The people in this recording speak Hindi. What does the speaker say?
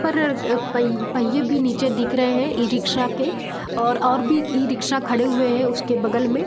परर पह पहियें भी नीचे दिख रहे हैं ई-रिक्शा के और और भी ई-रिक्शा खड़े हुए हैं उसके बगल में।